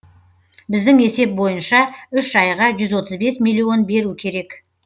біздің есеп бойынша үш айға жүз отыз бес миллион беру керек